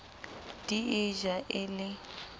di e ja e le